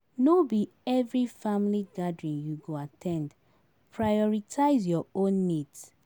No be every family gathering you go at ten d, prioritize your own needs.